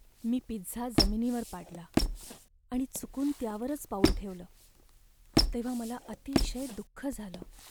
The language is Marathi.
मी पिझ्झा जमिनीवर पाडला आणि चुकून त्यावरच पाऊल ठेवलं तेव्हा मला अतिशय दुःख झालं.